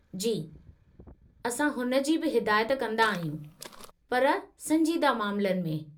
जी, असां हुन जी बि हिदायत कंदा आहियूं, पर संजीदा मामलनि में।